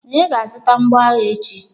Onye ga-azụta mgboagha echi.